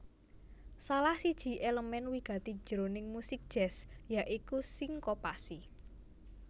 Salah siji èlemèn wigati jroning musik jazz ya iku sinkopasi